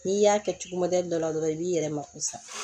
N'i y'a kɛ cogo dɔ la dɔrɔn i b'i yɛrɛ mako sa